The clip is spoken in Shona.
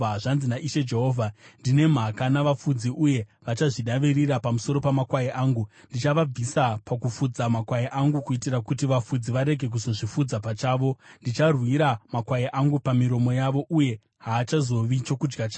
Zvanzi naIshe Jehovha: Ndine mhaka navafudzi uye vachazvidavirira pamusoro pamakwai angu. Ndichavabvisa pakufudza makwai angu kuitira kuti vafudzi varege kuzozvifudza pachavo. Ndicharwira makwai angu pamiromo yavo, uye haachazovi chokudya chavo.